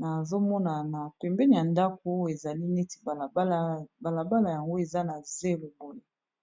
nazo mona na pembeni ya ndako, ezali neti balabala. Balabala yango eza na zelo boye.